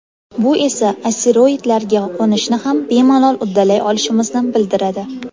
Bu esa asteroidlarga qo‘nishni ham bemalol uddalay olishimizni bildiradi.